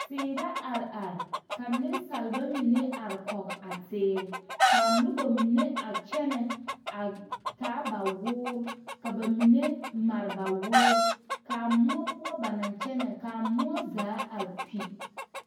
Teere la areare ka nensaaba mine are kɔɡe a teere ka a noba mine a kyɛnɛ a taa ba woori ka ba mine mare ba woori ka a moɔ poɔ ba naŋ kyɛnɛ ka a moɔ zaa kpi.